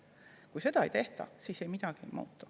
Kui seda ei tehta, siis midagi ei muutu.